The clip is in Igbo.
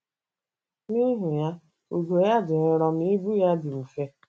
N'ihi ya, ugo ya dị nro ma ibu ya dị mfe